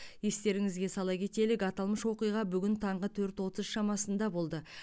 естеріңізге сала кетелік аталмыш оқиға бүгін таңғы төрт отыз шамасында болды